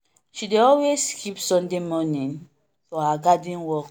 she dey always keep sunday morning for her garden work.